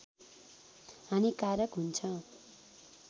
हानिकारक हुन्छ